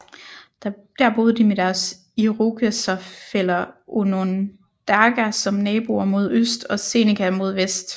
Der boede de med deres irokeserfæller onondaga som naboer mod øst og seneca mod vest